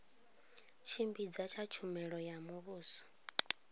tshimbidza tsha tshumelo ya muvhuso